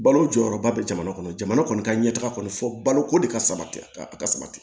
Balo jɔyɔrɔba bɛ jamana kɔnɔ jamana kɔni ka ɲɛ taga kɔni fɔ baloko de ka sabati a ka sabati